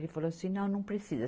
Ele falou assim, não, não precisa.